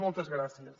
moltes gràcies